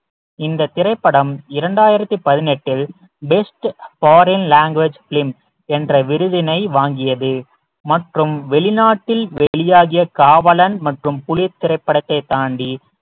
இந்த திரைப்படம் இரண்டாயிரத்தி பதினெட்டில் best foreign language film என்ற விருதினை வாங்கியது மற்றும் வெளிநாட்டில் வெளியாகிய காவலன் மற்றும் புலி திரைப்படத்தை தாண்டி